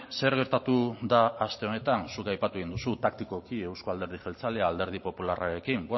zer gertatu da aste honetan zuk aipatu egin duzu taktikoki euzko alderdi jeltzalea alderdi popularrarekin